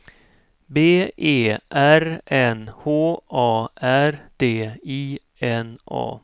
B E R N H A R D I N A